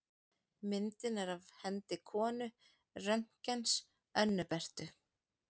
Myndin er af hendi konu Röntgens, Önnu Berthu.